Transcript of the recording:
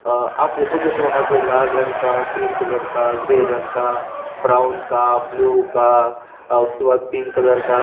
अ आप देखोगे तो वहाँ पे लाल रंग का क्रीम कलर का ग्रे रंग का ब्राउन का ब्लू का और उसके बाद पिंक कलर का --